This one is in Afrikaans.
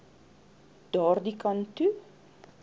daardie kant toe